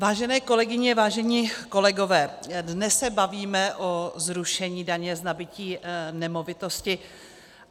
Vážené kolegyně, vážení kolegové, dnes se bavíme o zrušení daně z nabytí nemovitosti.